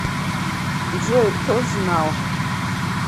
джой кто знал